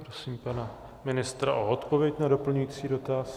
Prosím pana ministra o odpověď na doplňující dotaz.